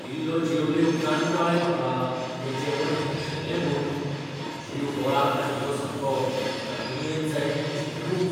इल्लो जेवले उपरांत कळ्ळें म्हाका तें जेवण भेळशेल्लें म्हूण. जीव गोळाक लागिल्लो सामको म्हाका दुयेंत जायत म्हूण चिंतूनच.